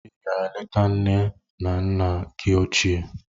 Ị gara leta nne na nna gị ochie